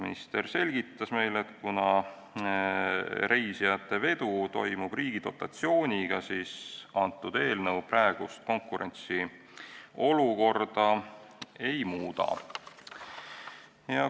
Minister selgitas meile, et kuna reisijatevedu toimub riigi dotatsiooniga, siis eelnõu praegust konkurentsiolukorda ei muuda.